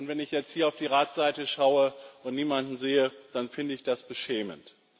Und wenn ich jetzt hier auf die Ratsseite schaue und niemanden sehe, dann finde ich das beschämend.